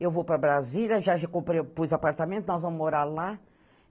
Eu vou para Brasília, já já comprei, pus apartamento, nós vamos morar lá.